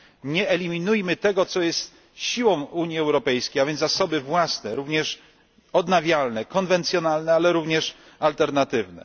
Nie eliminujmy tego, co jest siłą Unii Europejskiej, a więc również zasoby własne, również odnawialne, konwencjonalne, ale również alternatywne.